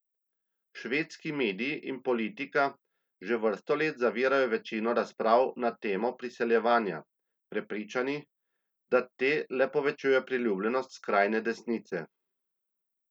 Švedski mediji in politika že vrsto let zavirajo večino razprav na temo priseljevanja, prepričani, da te le povečujejo priljubljenost skrajne desnice.